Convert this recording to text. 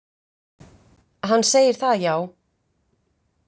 Hann segir það, já.